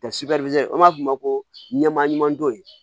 an b'a f'o ma ko ɲɛma ɲuman don